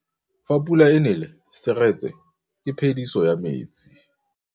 Fa pula e nelê serêtsê ke phêdisô ya metsi.